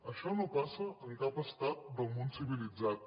això no passa en cap estat del món civilitzat